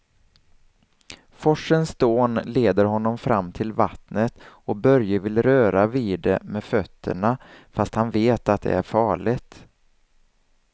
Forsens dån leder honom fram till vattnet och Börje vill röra vid det med fötterna, fast han vet att det är farligt.